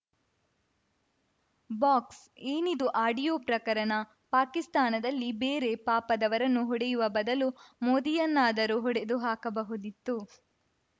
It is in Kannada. ಬಾಕ್ಸ್‌ ಏನಿದು ಆಡಿಯೋ ಪ್ರಕರಣ ಪಾಕಿಸ್ತಾನದಲ್ಲಿ ಬೇರೆ ಪಾಪದವರನ್ನು ಹೊಡೆಯುವ ಬದಲು ಮೋದಿಯನ್ನಾದರೂ ಹೊಡೆದು ಹಾಕಬಹುದಿತ್ತು